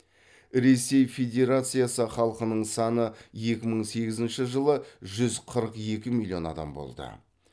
ресей федерациясы халқының саны екі мың сегізінші жылы жүз қырық екі миллион адам болды